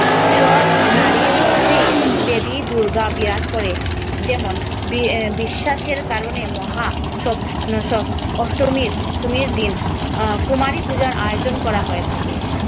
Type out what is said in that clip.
সব নারীর মধ্যেই দেবী দুর্গা বিরাজ করে এমন বিশ্বাসের কারণে মহা অষ্টমীর দিন আহ কুমারী পূজার আয়োজন করা হয়ে থাকে